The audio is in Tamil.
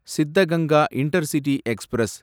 Siddaganga intercity express